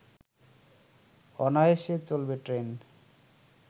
অনায়াসে চলবে ট্রেন